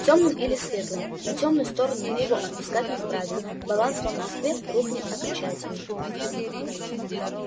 тёмным или светлым на тёмную сторону мы его отпускать не вправе баланс по москве рухнет окончательно